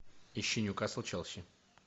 ищи ньюкасл челси